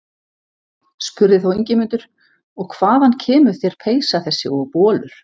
Spurði þá Ingimundur: Og hvaðan kemur þér peysa þessi og bolur?